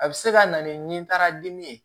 A bɛ se ka na ni nin taara dimi ye